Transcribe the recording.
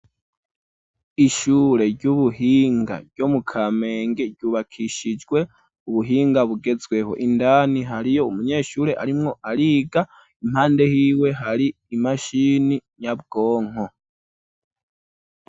Ishure ry'ubuhinga ryo mu Kamenge ryubakishijwe ubuhinga bugezweho indani hariyo umunyeshure arimwo ariga impande hiwe hari imashini nyabwonko.